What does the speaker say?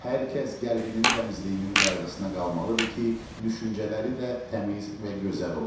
Hər kəs qəlbinin təmizliyinin qayğısına qalmalıdır ki, düşüncələri də təmiz və gözəl olsun.